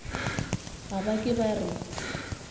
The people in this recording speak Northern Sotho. ga ba ke ba re